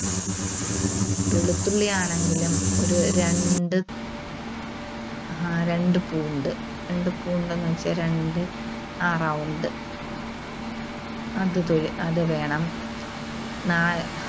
വെളുത്തുള്ളി ആണെങ്കിലും ഒരു രണ്ട് അഹ് രണ്ട് pound. രണ്ട് pound എന്നുവെച്ചാൽ രണ്ട് ആ round. അത് ത് അത് വേണം. നാല്